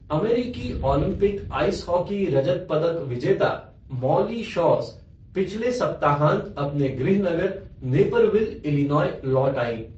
अमेरिकी Olympic ice hockey रजत पदक विजेता मौली शौस पिछले सप्ताहांत अपने गृहनगर नेपरविल, इलिनॉय लौट आईं।